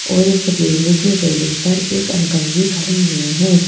और एक लोहे की रेलिंग पर एक अंकल भी खड़े हुए हैं।